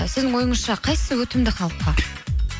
ы сіздің ойыңызша қайсысы өтімді халыққа